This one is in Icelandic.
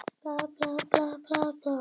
Jarðgas er lyktar- og litlaust.